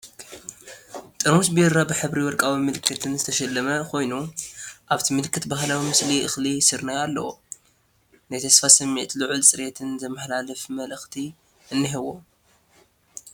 ጥርሙዝ ቢራ፣ ብሕብሪ ወርቃዊ ምልክትን ዝተሸለመ ኮይኑ፡ ኣብቲ ምልክት ባህላዊ ምስሊ እኽሊ ስርናይ ኣለዎ። ናይ ተስፋ ስምዒትን ልዑል ጽሬትን ዘመሓላልፍ መልእኽቲ እኒሄዎ።